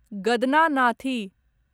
गदनानाथी